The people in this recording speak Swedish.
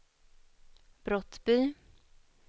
Brottby